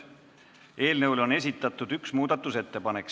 Eelnõu kohta on esitatud üks muudatusettepanek.